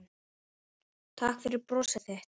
Takk fyrir brosið þitt.